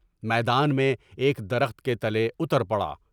میدان میں ایک درخت کے تلے اتر پڑا